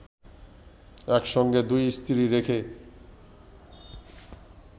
একসঙ্গে দুই স্ত্রী রেখে